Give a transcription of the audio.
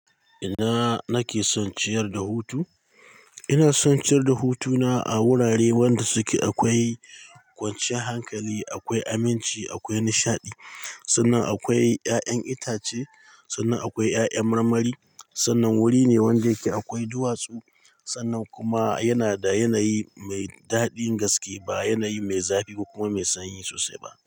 Ina nake son ciyar da hutu? Ina son ciyar da hutuna a wurare wanda suke akwai kwanciyar hankali, akwai aminci, akwai nishaɗi. Sannan akwai ƴaƴan itace, sannan akwai ƴaƴan marmari. Sannan wuri ne wanda yake akwai duwatsu. Sannan kuma yana da yanayi mai daɗin gaske ba yanayi mai zafi kuma mai sanyi sosai ba.